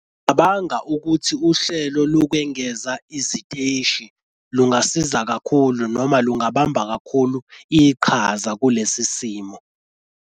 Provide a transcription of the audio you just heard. Ngicabanga ukuthi uhlelo lokwengeza iziteshi lungasiza kakhulu noma lungabamba kakhulu iqhaza kulesi simo.